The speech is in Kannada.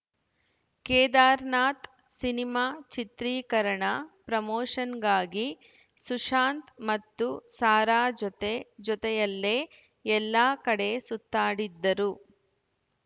ಕೇದಾರ್‌ನಾಥ್‌ ಸಿನಿಮಾ ಚಿತ್ರೀಕರಣ ಪ್ರಮೋಷನ್‌ಗಾಗಿ ಸುಶಾಂತ್‌ ಮತ್ತು ಸಾರಾ ಜೊತೆ ಜೊತೆಯಲ್ಲೇ ಎಲ್ಲಾ ಕಡೆ ಸುತ್ತಾಡಿದ್ದರು